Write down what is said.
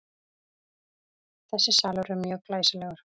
Þessi salur er mjög glæsilegur.